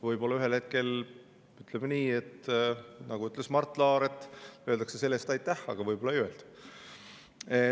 Võib-olla ühel hetkel, nagu ütles Mart Laar, öeldakse selle eest aitäh, aga võib-olla ei öelda.